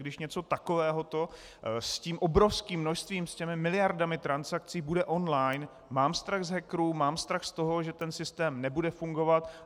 Když něco takovéhoto s tím obrovským množstvím, s těmi miliardami transakcí bude on-line, mám strach z hackerů, mám strach z toho, že ten systém nebude fungovat.